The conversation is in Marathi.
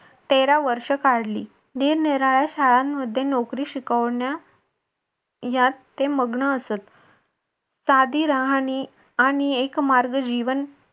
तेरा वर्ष काढली निरनिराळ्या शाळेंमध्ये नोकरी शिकवण्या यात ते मग्न असतं साधी राहाणी आणि एक मार्ग जीवन